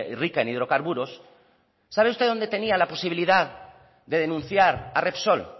rica en hidrocarburos sabe usted dónde tenía la posibilidad de denunciar a repsol